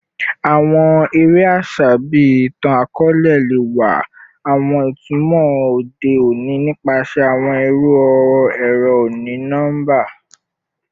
Awọn ere aṣa bii itan-akọọlẹ le wa awọn itumọ ode oni nipasẹ awọn iru ẹrọ oni-nọmba